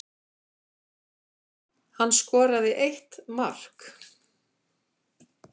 Hann skoraði eitt mark